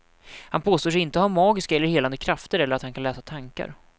Han påstår sig inte ha magiska eller helande krafter eller att han kan läsa tankar.